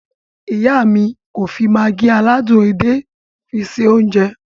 Iya mi ko fi Maggi aládùn edé fi se ounje.